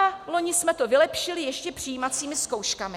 A loni jsme to vylepšili ještě přijímacími zkouškami.